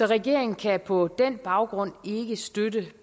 regeringen kan på den baggrund ikke støtte